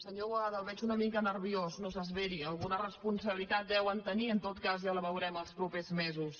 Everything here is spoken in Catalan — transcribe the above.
senyor boada el veig una mica nerviós no s’esveri alguna responsabilitat deuen tenir en tot cas ja la veurem els propers mesos